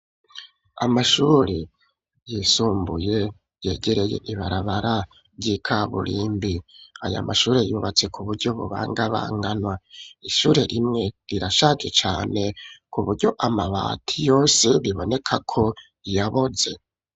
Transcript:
Amashuri yisumbuye, yegereye ibarabara, ry'ikaburimbi; aya mashure, yubatse ku buryo, bubangabanganwa; ishure rimwe, rirashaje cane, ku buryo amabati yose, biboneka ko, yaboze.